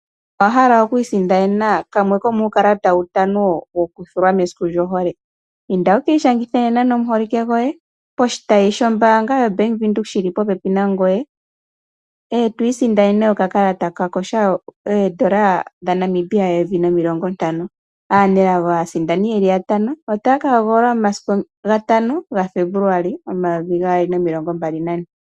Owahala okwiisindanena kamwe komuukalata uutano woku thulwa mesiku lyohole? Inda wu ki i shangithe nomuholike gwoye poshitayi shombaanga yoBank Windhoek shi li po pepi nangoye eto i sindanene okakalata koye taka kotha oondola dhaNamibia eyovi nomilongo ntano. Aanelago aasindani ye ki yatano otaya ka hogololwa momasiku ga 5 Febuluali 2024.